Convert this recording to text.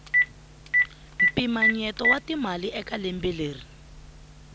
mpinamyeto wa timali eka lembe leri